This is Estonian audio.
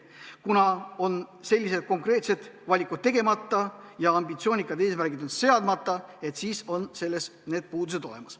Kuna sellised konkreetsed valikud on tegemata ja ambitsioonikad eesmärgid on seadmata, siis on need puudused olemas.